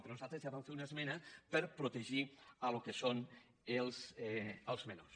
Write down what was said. però nosaltres ja vam fer una esmena per protegir el que són els menors